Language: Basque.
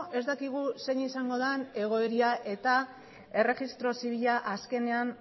ez dakigu zein izango den egoera eta erregistro zibila azkenean